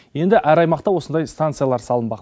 енді әр аймақта осындай станциялар салынбақ